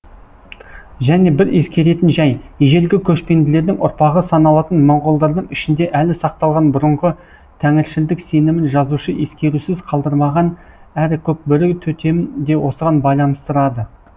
және бір ескеретін жай ежелгі көшпенділердің ұрпағы саналатын моңғолдардың ішінде әлі сақталған бұрынғы тәңіршілдік сенімін жазушы ескерусіз қалдырмаған әрі көкбөрі төтемін де осыған байланыстырады